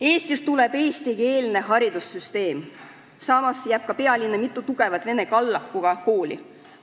Eestis tuleb eestikeelne haridussüsteem, samas jääb pealinna mitu tugevat vene kallakuga kooli.